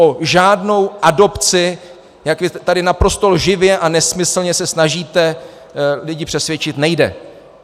O žádnou adopci, jak vy tady naprosto lživě a nesmyslně se snažíte lidi přesvědčit, nejde.